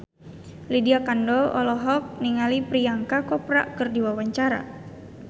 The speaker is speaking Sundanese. Lydia Kandou olohok ningali Priyanka Chopra keur diwawancara